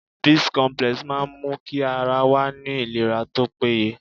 Bicomplex máa n mú kí ara wa ní ìlera tópé ye